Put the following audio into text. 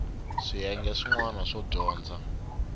swiyenge swin wana swo dyondza